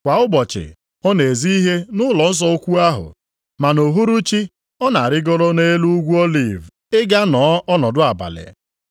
Kwa ụbọchị, ọ na-ezi ihe nʼụlọnsọ ukwu ahụ, ma nʼuhuruchi, ọ na-arịgoro nʼelu Ugwu Oliv ị ga nọọ ọnọdụ abalị.